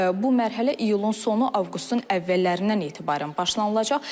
Bu mərhələ iyulun sonu, avqustun əvvəllərindən etibarən başlanılacaq.